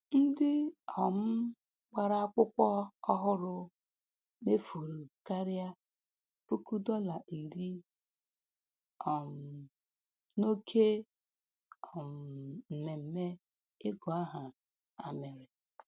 Ndị um gbara akwụkwọ ọhụrụ mefuru karịa puku dọla iri um n'oke um mmemme ịgụ aha ha mere.